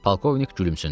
Polkovnik gülümsündü.